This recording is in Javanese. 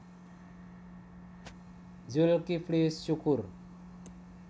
Zulkifly Syukur